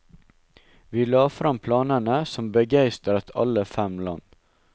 Vi la frem planene, som begeistret alle fem land.